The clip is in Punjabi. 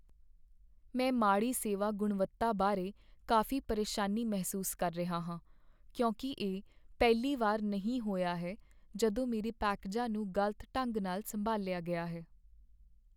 ਮੈਂ ਮਾੜੀ ਸੇਵਾ ਗੁਣਵੱਤਾ ਬਾਰੇ ਕਾਫੀ ਪਰੇਸ਼ਾਨੀ ਮਹਿਸੂਸ ਕਰ ਰਿਹਾ ਹਾਂ, ਕਿਉਂਕਿ ਇਹ ਪਹਿਲੀ ਵਾਰ ਨਹੀਂ ਹੋਇਆ ਹੈ ਜਦੋਂ ਮੇਰੇ ਪੈਕੇਜਾਂ ਨੂੰ ਗ਼ਲਤ ਢੰਗ ਨਾਲ ਸੰਭਾਲਿਆ ਗਿਆ ਹੈ।